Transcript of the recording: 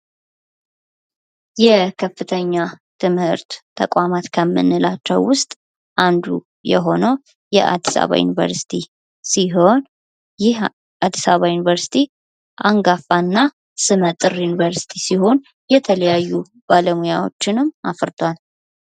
የከፍተኛ ትምህርት ተቋማት ከምንላቸው ውስጥ አንዱ የሆነው የአዲስ አበባ ዩኒቨርስቲ ሲሆን ይህ አዲስ አበባ ዩኒቨርስቲ አንጋፋና ስመ ጥር ዩኒቨርስቲ ሲሆን የተለያዩ ባለሙያዎችንም አፍርቷል።